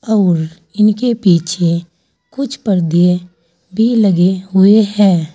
और इनके पीछे कुछ पर्दे भी लगे हुए हैं।